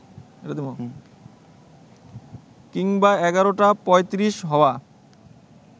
কিংবা এগারোটা পঁয়ত্রিশ হওয়া